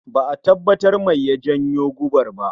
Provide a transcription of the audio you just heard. Ba'a tabbatar mai ya janyo gobar ba